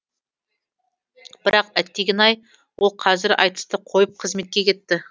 бірақ әттеген ай ол қазір айтысты қойып қызметке кетті